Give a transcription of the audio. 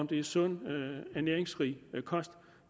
det er sund næringsrig kost